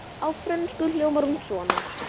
Á frönsku hljómar hún svona